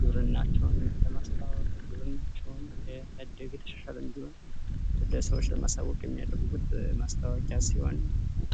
ግብርናቸውን ለማስተዋወቅ ያደገ የተሻለም ቢሆን ለሰዎች ለማሳዎቅ የሚያደረጉበት ማሳውቂያ ነው።